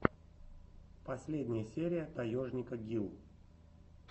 последняя серия таежника гил